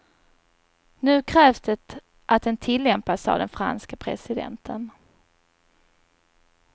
Nu krävs det att den tillämpas, sade den franske presidenten.